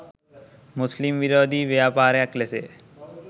මුස්ලිම් විරෝධී ව්‍යාපාරයක් ලෙස ය.